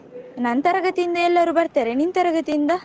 ನನ್ ತರಗತಿಯಿಂದ ಎಲ್ಲರು ಬರ್ತಾರೆ ನಿನ್ ತರಗತಿಯಿಂದ?